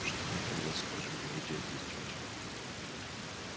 что мы тогда скажем его дяде и тете